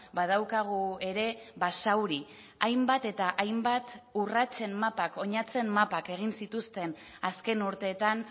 badaukagu ere basauri hainbat eta hainbat urratsen mapak oinatzen mapak egin zituzten azken urteetan